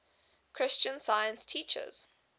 christian science teaches